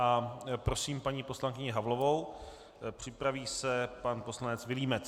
A prosím paní poslankyni Havlovou, připraví se pan poslanec Vilímec.